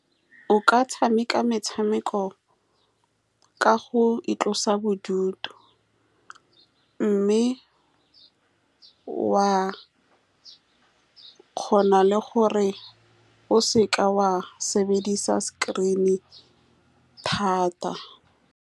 O ka tshameka metshameko ka go itlosa bodutu, mme wa kgona le gore o seka wa sebedisa screen-e thata.